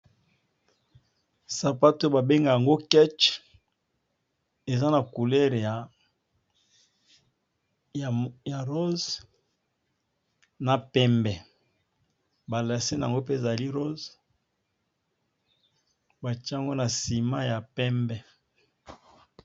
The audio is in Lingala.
Sapato ba bengaka kece eza na langi ya rosé na pembe ba lasse nango pe ezali rosé batiye yango na ciment ya pembe.